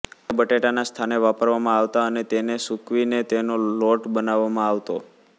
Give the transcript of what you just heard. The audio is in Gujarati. આને બટેટાના સ્થાને વાપરવામાં આવતા અને તેને સુકવીને તેનો લોટ બનાવવામાં આવતો